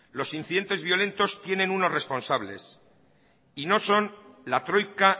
los incidentes violentos tienen unos responsables y no son la troika